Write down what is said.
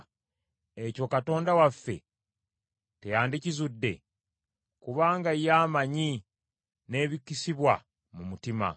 ekyo Katonda waffe teyandikizudde? Kubanga ye amanyi n’ebikisibwa mu mutima.